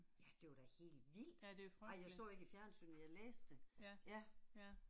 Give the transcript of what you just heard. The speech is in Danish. Ja det var da helt vildt. Ej jeg så ikke i fjernsynet, men jeg læste det, ja